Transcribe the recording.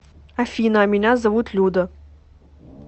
афина а меня зовут люда